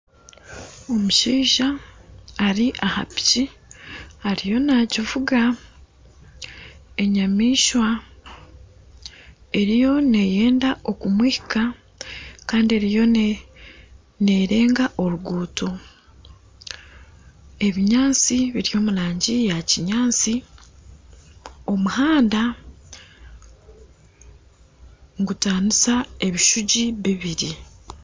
Omushaija ari aha piiki ariyo naagivuga enyamaishwa eriyo neeyenda kumuhika kandi eriyo neerenga oruguuto, ebinyaatsi biri omu rangi ya kinyaatsi omuhanda nigutaanisa ebishugi bibiri